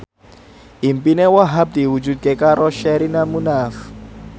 impine Wahhab diwujudke karo Sherina Munaf